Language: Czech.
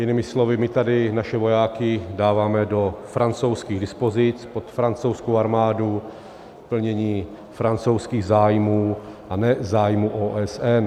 Jinými slovy, my tady naše vojáky dáváme do francouzských dispozic, pod francouzskou armádu k plnění francouzských zájmů, a ne zájmů OSN.